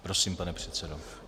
Prosím, pane předsedo.